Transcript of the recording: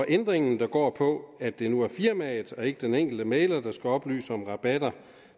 ændringen der går på at det nu er firmaet og ikke den enkelte mægler der skal oplyse om rabatter